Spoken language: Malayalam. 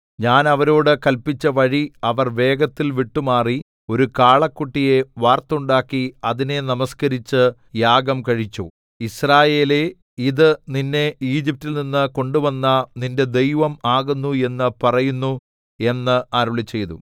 ഞാൻ അവരോട് കല്പിച്ച വഴി അവർ വേഗത്തിൽ വിട്ടുമാറി ഒരു കാളക്കുട്ടിയെ വാർത്തുണ്ടാക്കി അതിനെ നമസ്കരിച്ച് യാഗം കഴിച്ചു യിസ്രായേലേ ഇത് നിന്നെ ഈജിപ്റ്റിൽ നിന്ന് കൊണ്ടുവന്ന നിന്റെ ദൈവം ആകുന്നു എന്ന് പറയുന്നു എന്ന് അരുളിച്ചെയ്തു